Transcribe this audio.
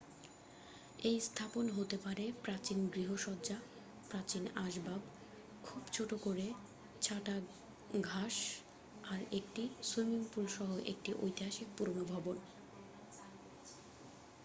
এই স্থাপন হতে পারে প্রাচীন গৃহসজ্জা প্রাচীন আসবাব খুব ছোট করে ছাটা ঘাষ আর একটি সুইমিংপুল সহ একটি ঐতিহাসিক পুরানো ভবন